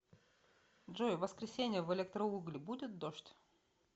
джой в воскресенье в электроугли будет дождь